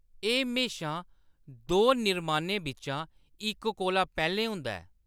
एह्‌‌ म्हेशां दो निर्माणें बिच्चा इक कोला पैह्‌‌‌लें होंदा ऐ।